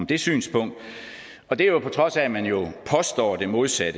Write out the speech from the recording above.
det synspunkt og det er på trods af at man jo påstår det modsatte